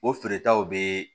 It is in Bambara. O feeretaw bɛ